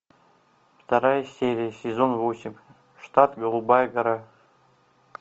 вторая серия сезон восемь штат голубая гора